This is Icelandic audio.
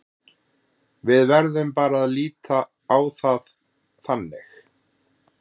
Við verðum bara að líta á það þannig.